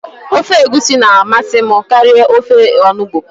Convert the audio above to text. Ofe egusi na amasị m karịa ofe onugbụ